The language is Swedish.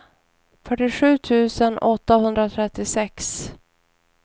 fyrtiosju tusen åttahundratrettiosex